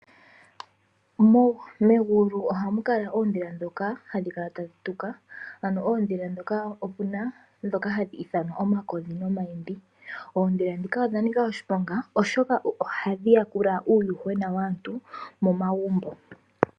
Kegulu ohaku kala oondhila ndhoka hadhi kala tadhi tuka . Ano oondhila ndhoka opuna ndhoka hadhi ithanwa omakodhi nomayimbi. Oondhila ndhika odha nika oshiponga oshoka ohadhi yakula uuyuhwena waantu momagumbo.